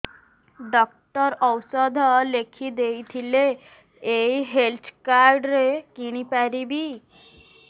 doctor ଔଷଧ ଲେଖିଦେଇଥିଲେ ଏଇ ହେଲ୍ଥ କାର୍ଡ ରେ କିଣିପାରିବି